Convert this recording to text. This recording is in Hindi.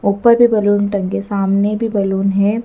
ऊपर भी बैलून टंगे के सामने भी बैलून हैं।